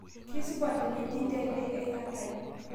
Keisupat teneji ndedei aikatai